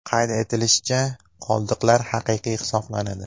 Qayd etilishicha, qoldiqlar haqiqiy hisoblanadi.